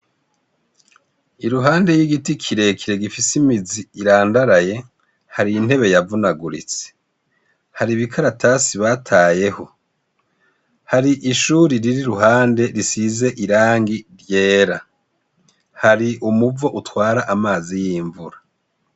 Iruhande y'igiti kirekire gifise imizi irandaraye, hari intebe yavunaguritse, hari ibikaratasi batayeho, hari ishure riri iruhande risize irangi ryera. Hari umuvo utwara amazi y'imvura.